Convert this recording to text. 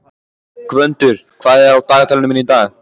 Gvöndur, hvað er á dagatalinu mínu í dag?